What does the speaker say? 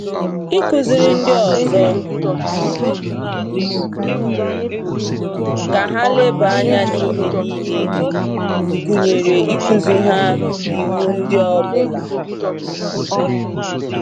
Ịkụziri ndị ọzọ ka ha “leba anya n’ihe niile” gụnyere ịkụziri ha iwu ndị ọ bụla?